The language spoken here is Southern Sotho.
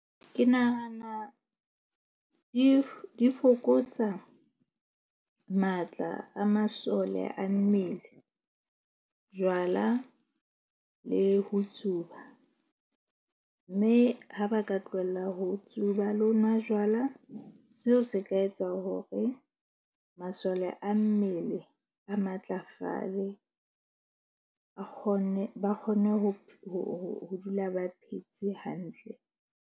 Ke nahana di fokotsa matla a masole a mmele, jwala le ho tsuba. Mme ha ba ka tlohella ho tsuba le ho nwa jwala seo se ka etsa hore masole a mmele a matlafale a kgone. Ba kgone ho dula ba phetse hantle.